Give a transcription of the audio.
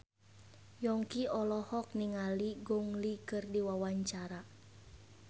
Yongki olohok ningali Gong Li keur diwawancara